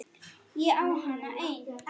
Ég á hana enn.